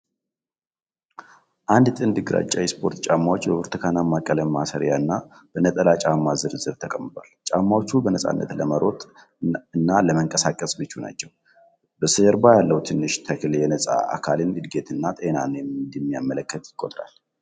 አንድ ጥንድ ግራጫ የስፖርት ጫማዎች በብርቱካንማ ቀለም ማሰሪያ እና በነጠላ ጫማ ዝርዝር ተቀምጠዋል። ጫማዎቹ በነፃነት ለመሮጥ እና ለመንቀሳቀስ ምቹ ናቸው። በስተጀርባ ያለው ትንሽ ተክል የነፃ አካልን እድገት እና ጤናን እንደሚያመለክት ይቆጠራል።